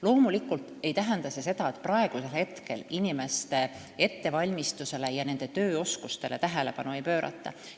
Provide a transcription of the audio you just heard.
Loomulikult ei tähenda see seda, et praegu inimeste ettevalmistusele ja nende tööoskustele tähelepanu ei pöörata.